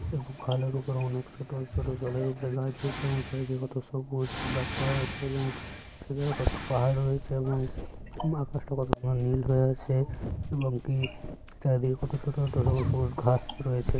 এরকম খালের ওপর অনেক ছোট ছোট জলের ওপরে গাছ হয়েছে এবং চারদিক কত সবুজ গাছপালা হয়েছে এবং সেধারে কত পাহাড় রয়েছে এবং উম আকাশ টা কত ঘন নীল হয়ে আছে এবং কি চারিদিকে কত ছোট ছোট সবুজ সবুজ ঘাস রয়েছে।